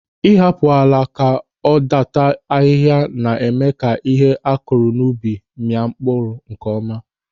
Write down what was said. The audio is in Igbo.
Ị hapụ ala ka ọ dàtà ahịhịa na-eme ka ihe akụrụ n'ubi mịa nkeọma.